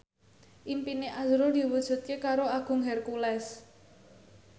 impine azrul diwujudke karo Agung Hercules